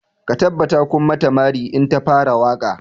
Ku tabbata kun mata mari in ta fara waƙa!